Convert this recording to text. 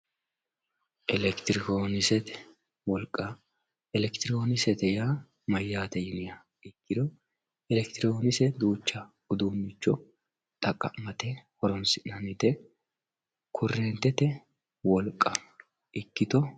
Electronksete wolqqa electronksete yaa mayate yiniha ikiro electironkse yaa duucha horora horonsi`nanite korentete cabichoti